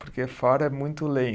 Porque fora é muito